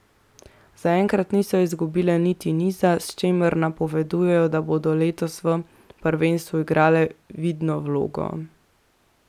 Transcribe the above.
Zaenkrat niso izgubile niti niza, s čimer napovedujejo, da bodo letos v prvenstvu igrale vidno vlogo.